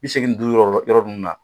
Bi seegin ni duuru yɔrɔ yɔrɔ ninnu na